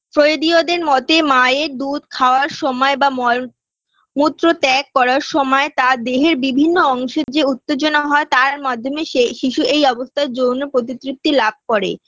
সইদিওদের মতে মায়ের দুধ খাওয়ার সময় বা মল মূত্র ত্যাগ করার সময় তার দেহের বিভিন্ন অংশে যে উত্তেজনা হয় তার মাধ্যমে সেই শিশু এই অবস্থায় যৌন প্রতিতৃপ্তি লাভ করে